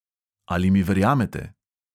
Ali mi verjamete?